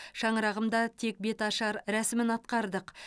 шаңырағымда тек беташар рәсімін атқардық